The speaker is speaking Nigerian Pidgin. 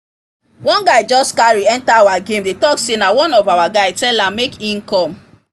one guy just carry enter our game dey talk say na one of our guy tell am make e come